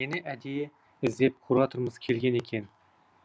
мені әдейі іздеп кураторымыз келген екен